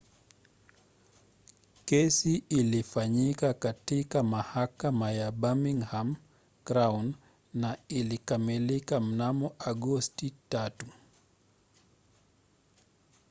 kesi ilifanyika katika mahakama ya birmingham crown na ilikamilika mnamo agosti 3